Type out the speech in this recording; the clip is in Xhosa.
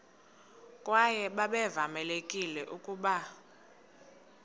kwaye babevamelekile ukuba